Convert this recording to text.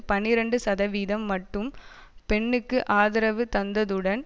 பனிரண்டு சதவீதம் மட்டும் பென்னுக்கு ஆதரவு தந்ததுடன்